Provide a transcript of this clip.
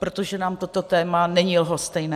Protože nám toto téma není lhostejné.